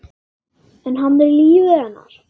En hann er lífæð hennar.